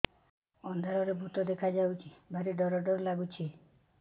ଅନ୍ଧାରରେ ଭୂତ ଦେଖା ଯାଉଛି ଭାରି ଡର ଡର ଲଗୁଛି